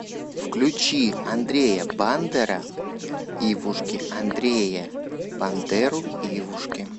включи андрея бандера ивушки андрея бандеру ивушки